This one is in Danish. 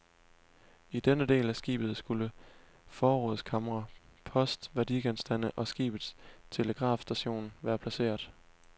I denne del af skibet skulle forrådskamre, post, værdigenstande og skibets telegrafstation være placeret.